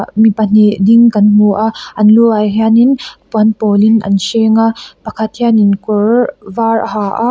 mi pahnih ding kan hmu a an luah hian in puan pawl in an hreng a pakhat hian in kawr var a ha a.